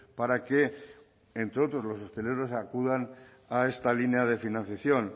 para que entre otros los hosteleros acudan a esta línea de financiación